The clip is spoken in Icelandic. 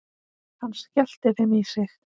Hann skellti þeim í sig.